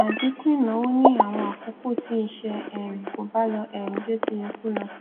àdínkù ìnáwó ní àwọn àkókò tí iṣẹ um kò bá lọ um bí ó ti yẹ kó lọ